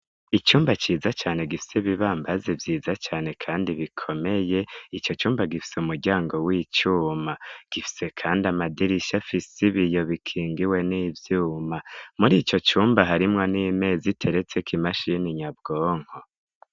Icumba ciza cane gifise ibibambazi vyiza cane kandi bikomeye. Ico cumba gifise umuryango w'icuma gifise kandi amadirisha afise ibiyo bikingiwe n'ivyuma. Muri ico cumba harimwo n'imeza iteretseko imashini nyabwonko.